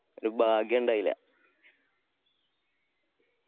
ഒരു ഭാഗ്യയുണ്ടായില്ല